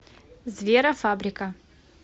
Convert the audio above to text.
зверофабрика